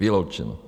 Vyloučeno.